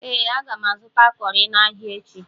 Ee, aga m azụta cọrị n'ahịa echi.